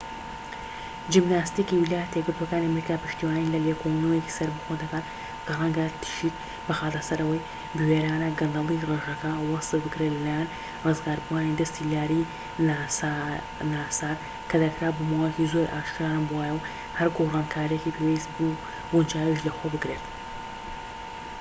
جیمناستیكی ویلایەتە یەکگرتووەکانی ئەمریکا پشتیوانی لە لێکۆڵینەوەیەکی سەربەخۆ دەکات کە ڕەنگە تشیک بخاتە سەر ئەوەی بوێرانە گەندەڵی ڕێژەکە وەسف بکرێت لە لایەن ڕزگاربووانی دەستی لاری ناسار کە دەکرا بۆ ماوەیەکی زۆر ئاشکرا نەبووایە و هەر گۆڕانکاریەکی پێویست و گونجاویش لە خۆ بگرێت